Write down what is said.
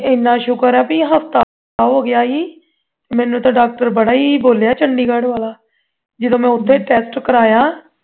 ਇਨ੍ਹਾਂ ਸ਼ੁਕਰ ਹੈ ਕੇ ਹਫ਼ਤਾ ਹੋ ਗਿਆ ਸੀ ਮੈਨੂੰ ਤੇ doctor ਬੜਾ ਹੀ ਬੋਲਿਆ chandigarh ਵਾਲਾ ਜਦੋਂ ਮੈਂ ਉਥੇ test ਕਰਵਾਇਆ